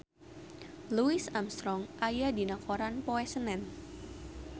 Louis Armstrong aya dina koran poe Senen